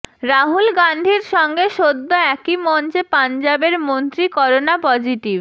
রাহুল গান্ধীর সঙ্গে সদ্য একই মঞ্চে পাঞ্জাবের মন্ত্রী করোনা পজিটিভ